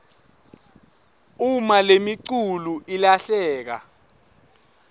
uma lemiculu ilahleka